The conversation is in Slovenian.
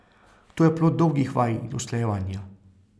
To je plod dolgih vaj in usklajevanja.